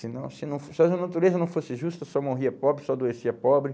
Senão, senão, se se a natureza não fosse justa, só morria pobre, só adoecia pobre.